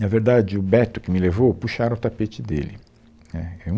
Na verdade, o Beto que me levou, puxaram o tapete dele, né, é